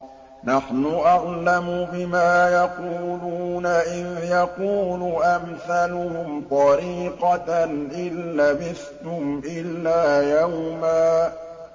نَّحْنُ أَعْلَمُ بِمَا يَقُولُونَ إِذْ يَقُولُ أَمْثَلُهُمْ طَرِيقَةً إِن لَّبِثْتُمْ إِلَّا يَوْمًا